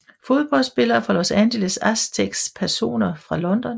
Fodboldspillere fra Los Angeles Aztecs Personer fra London